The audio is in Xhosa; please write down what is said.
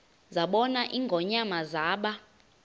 zabona ingonyama zaba